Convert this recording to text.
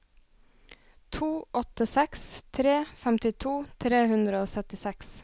to åtte seks tre femtito tre hundre og syttiseks